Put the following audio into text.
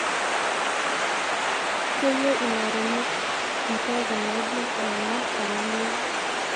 keyieu ilaremok impekun naidim aima olameyu